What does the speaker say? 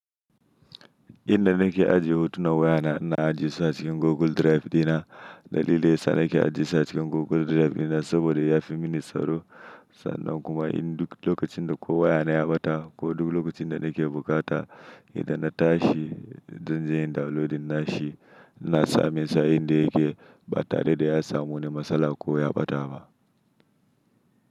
Inda nake ajiye hotunan wayana na anjiya su a cikin Google Drive dina. Dalili yasa nake ajiye su a cikin Google Drive dina saboda yafi mini tsaro sannan kuma in duk lokacin da ko wayana ya ɓata ko duk lokacin da nake bukata idan na tashi zan je in downloadin nashi na sami sa inda yake ba tare da ya samu wani matsala ko ya ɓata ba.